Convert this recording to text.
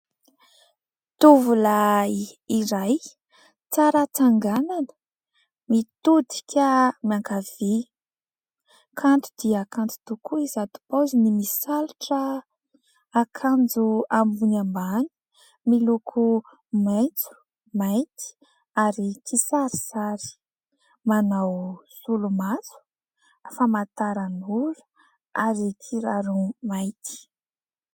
Tovolahy iray, tsara tsanganana, mitodika miankavia. Kanto dia kanto tokoa izato paoziny misalotra akanjo ambony ambany miloko maitso, mainty ary kisarisary, manao solomaso, famantaranora ary kiraro mainty.